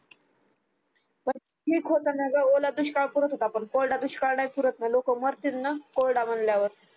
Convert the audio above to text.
पण ठीक होत ना ग ओला दुष्काळ पुरात होता पण कोरडा दुष्काळ नाही पुरात ना लोक मरतील ना कोरडा म्हणल्यावर